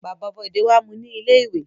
Bàbá Bọ̀dé wá mú u ní ilé-ìwé.